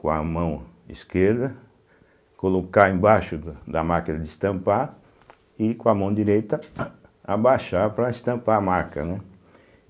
com a mão esquerda, colocar embaixo da da máquina de estampar e com a mão direita abaixar para estampar a marca, né.